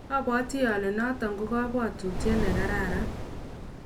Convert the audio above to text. abwatii ale noto ko kabwatut ne kararan.